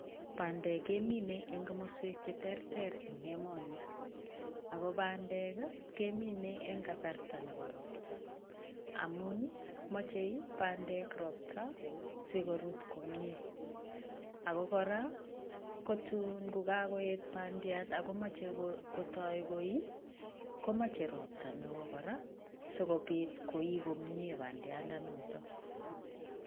bandek kemine eng komaswek che terter eng emoni, ago bandek kemine eng gasarta nebo ropta amun machei bandek ropta si korut komie ago kora kotu kagoeet bandiat akomachei goii gomache ropta neoo si kopit goii komie bandianatak